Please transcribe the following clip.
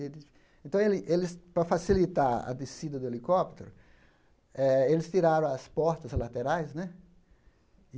Então, ele eles para facilitar a descida do helicóptero eh, eles tiraram as portas laterais né.